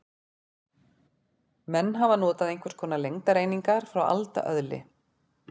Menn hafa notað einhvers konar lengdareiningar frá alda öðli.